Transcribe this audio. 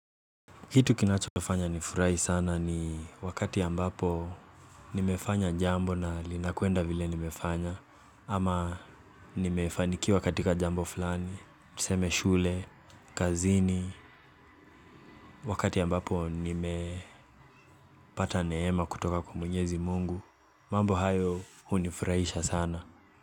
Kitu kinacho fanya nifurahi sana ni wakati ambapo nimefanya jambo na linakwenda vile nimefanya. Ama nimefanikiwa katika jambo fulani, tuseme shule, kazini. Wakati ambapo nimepata neema kutoka kwa Mwenyezi Mungu, mambo hayo hunifurahisha sana.